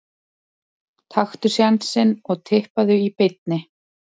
Taktu sénsinn og Tippaðu í beinni.